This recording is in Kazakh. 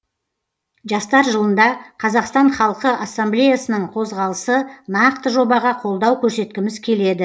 жастар жылында қазақстан халқы ассамблеясының қозғалысы нақты жобаға қолдау көрсеткіміз келеді